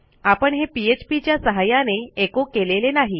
आपण हे पीएचपी च्या सहाय्याने एचो केलेले नाही